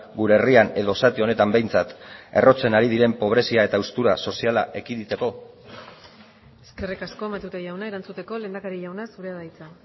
gure herrian edo zati honetan behintzat errotzen ari diren pobrezia eta haustura soziala ekiditeko eskerrik asko matute jauna erantzuteko lehendakari jauna zurea da hitza